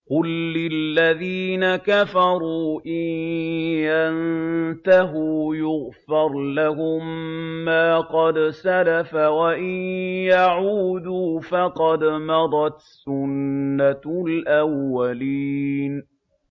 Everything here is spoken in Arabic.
قُل لِّلَّذِينَ كَفَرُوا إِن يَنتَهُوا يُغْفَرْ لَهُم مَّا قَدْ سَلَفَ وَإِن يَعُودُوا فَقَدْ مَضَتْ سُنَّتُ الْأَوَّلِينَ